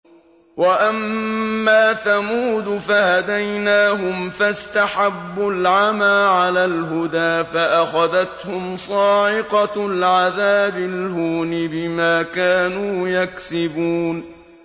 وَأَمَّا ثَمُودُ فَهَدَيْنَاهُمْ فَاسْتَحَبُّوا الْعَمَىٰ عَلَى الْهُدَىٰ فَأَخَذَتْهُمْ صَاعِقَةُ الْعَذَابِ الْهُونِ بِمَا كَانُوا يَكْسِبُونَ